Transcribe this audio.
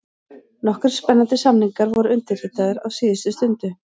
Nokkrir spennandi samningar voru undirritaðir á síðustu stundu: